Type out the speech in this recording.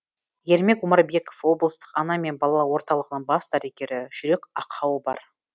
ермек омарбеков облыстық ана мен бала орталығының бас дәрігері жүрек ақауы бар